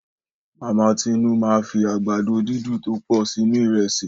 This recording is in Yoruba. Mama Tinú máa fi àgbàdo dídun tó pọ̀ sínú ìrẹsì.